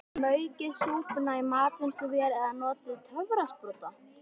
Maukið súpuna í matvinnsluvél eða notið töfrasprota.